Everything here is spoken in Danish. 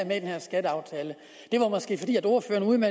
med i den her skatteaftale det var måske fordi ordføreren